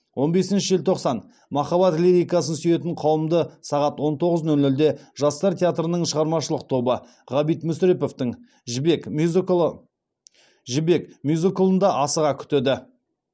он бесінші желтоқсан махаббат лирикасын сүйетін қауымды сағат он тоғыз нөл нөлде жастар театрының шығармашылық тобы ғабит мүсіреповтің жібек мюзиклында асыға күтеді